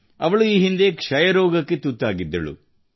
ಅವಳು ಈ ಹಿಂದೆ ಕ್ಷಯ ರೋಗಕ್ಕೆ ತುತ್ತಾಗಿದ್ದಳು